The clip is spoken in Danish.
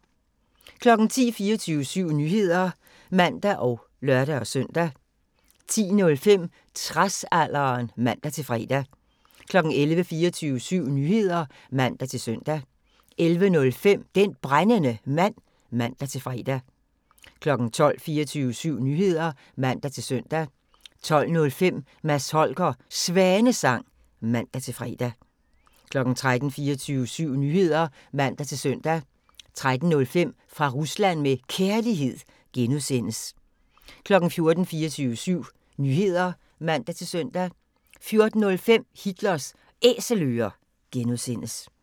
10:00: 24syv Nyheder (man og lør-søn) 10:05: Tradsalderen (man-fre) 11:00: 24syv Nyheder (man-søn) 11:05: Den Brændende Mand (man-fre) 12:00: 24syv Nyheder (man-søn) 12:05: Mads Holgers Svanesang (man-fre) 13:00: 24syv Nyheder (man-søn) 13:05: Fra Rusland med Kærlighed (G) 14:00: 24syv Nyheder (man-søn) 14:05: Hitlers Æselører (G)